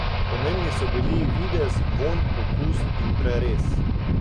Pomembni so bili videz, vonj, okus in prerez.